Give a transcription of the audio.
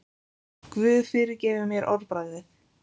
Guð fyrirgefi mér orðbragðið.